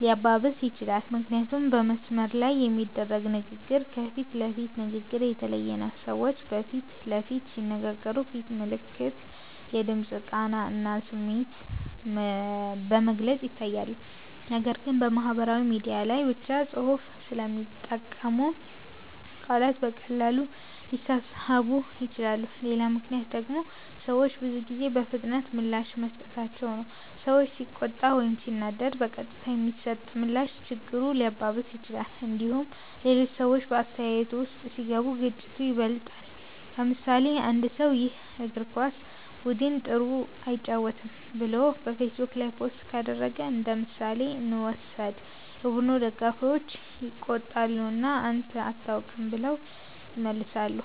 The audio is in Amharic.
ሊያባብስ ይችላል። ምክንያቱም በመስመር ላይ የሚደረግ ንግግር ከፊት ለፊት ንግግር የተለየ ነው። ሰዎች በፊት ለፊት ሲነጋገሩ ፊት ምልክት፣ የድምፅ ቃና እና ስሜት በግልጽ ይታያሉ። ነገር ግን በማህበራዊ ሚዲያ ላይ ብቻ ጽሁፍ ስለሚጠቀሙ ቃላት በቀላሉ ሊሳሳቡ ይችላሉ። ሌላ ምክንያት ደግሞ ሰዎች ብዙ ጊዜ በፍጥነት ምላሽ መስጠታቸው ነው። ሰው ሲቆጣ ወይም ሲናደድ በቀጥታ የሚሰጥ ምላሽ ችግሩን ሊያባብስ ይችላል። እንዲሁም ሌሎች ሰዎች በአስተያየቱ ውስጥ ሲገቡ ግጭቱ ይበልጣል። ለምሳሌ፣ አንድ ሰው “ይህ የእግር ኳስ ቡድን ጥሩ አይጫወትም” ብሎ በፌስቡክ ላይ ፖስት ካደረገ እንደምሳሌ እንውሰድ። የቡድኑ ደጋፊዎች ይቆጣሉ እና “አንተ አታውቅም” ብለው ይመልሳሉ።